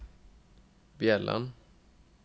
Bjelland